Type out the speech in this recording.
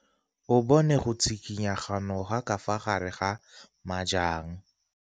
O bone go tshikinya ga noga ka fa gare ga majang.